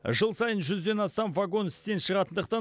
жыл сайын жүзден астам вагон істен шығатындықтан